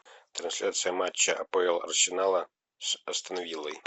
трансляция матча апл арсенала с астон виллой